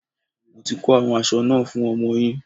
Mo ti ko àwọn aṣọ náà fún ọmọ yín.